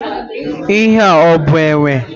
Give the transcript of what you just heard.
Ihe ọ bụ enwe?